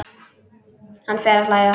Hann fer að hlæja.